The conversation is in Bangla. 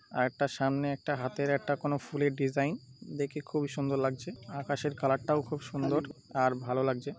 আর একটা সামনে একটা হাতের একটা কোনো ফুলের ডিজাইন দেখে খুবই সুন্দর লাগছে আকাশের কালার -টাও খুব সুন্দর আর ভালো লাগছে।